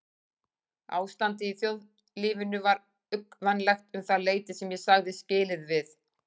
Ástandið í þjóðlífinu var uggvænlegt um það leyti sem ég sagði skilið við